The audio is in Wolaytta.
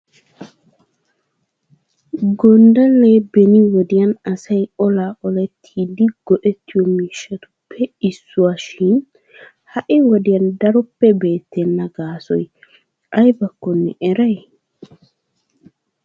Gonddallee beni wodiyan asay olaa olettiiddi go"ettiyo miishshatuppe issuwashin ha"i wodiyan daroppe beettenna gaasoy aybakkonne eray?